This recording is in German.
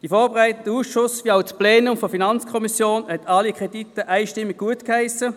Der vorberatende Ausschuss wie auch das Plenum der FiKo haben alle Kredite einstimmig gutgeheissen.